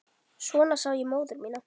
Svona sá ég móður mína.